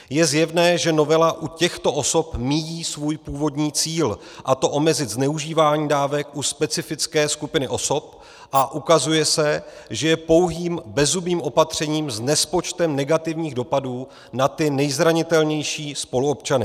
Je zjevné, že novela u těchto osob míjí svůj původní cíl, a to omezit zneužívání dávek u specifické skupiny osob, a ukazuje se, že je pouhým bezzubým opatřením s nespočtem negativních dopadů na ty nejzranitelnější spoluobčany.